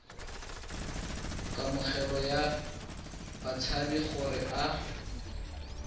kamogelo ya batshabi gore a